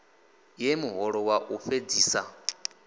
ye muholo wa u fhedzisa